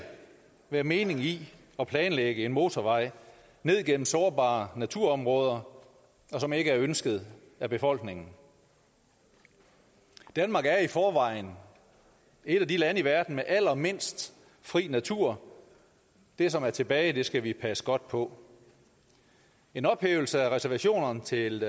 være mening i at planlægge en motorvej ned gennem sårbare naturområder som ikke er ønsket af befolkningen danmark er i forvejen et af de lande i verden med allermindst fri natur det som er tilbage skal vi passe godt på en ophævelse af reservationerne til